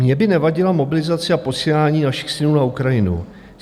Mně by nevadila mobilizace a posílání našich synů na Ukrajinu.